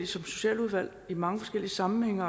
socialudvalg i mange forskellige sammenhænge